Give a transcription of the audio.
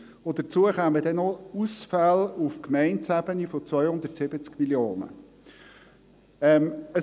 Hinzu kämen dann noch Ausfälle auf Gemeindeebene von 270 Mio. Franken.